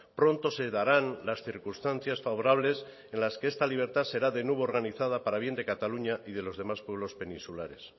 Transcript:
pronto se darán las circunstancias favorables en las que esta libertad será de nuevo organizada para bien de cataluña y de los demás pueblos peninsulares